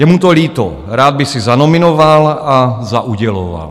Je mu to líto, rád by si zanominoval a zauděloval.